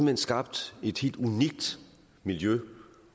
hen skabt et helt unikt miljø